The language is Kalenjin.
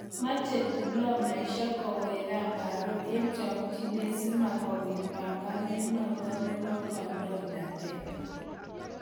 Meche diplomasiek kowek gaa Barrow eng' chakchinet simatkopit pengonebo kandoinatet